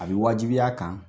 A bɛ wajibiya a kan